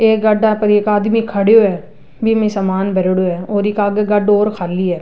एक गाढ़ा पर एक खडियो है बीम ही सामान भ्रेड़ो है बिक आगे गाढ़ो और खाली है।